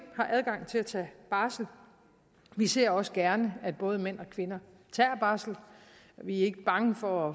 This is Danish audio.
har adgang til at tage barsel vi ser også gerne at både mænd og kvinder tager barsel vi er ikke bange for